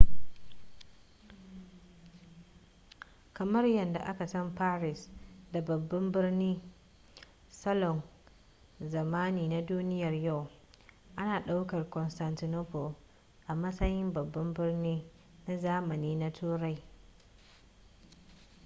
kamar yadda aka san paris da babban birnin salon zamani na duniyar yau ana ɗaukar constantinople a matsayin babban birni na zamani na turai